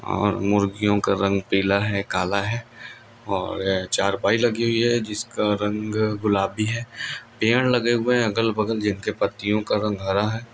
ओर मुर्गियों का रंग पीला है काला है ओर चारपाई लगी हुई है जिसका रंग गुलाबी है पेड़ लगे हुए है